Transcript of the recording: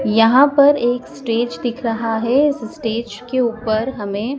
यहां पर एक स्टेज दिख रहा है स्टेज के ऊपर हमें--